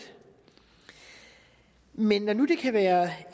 men når nu det kan være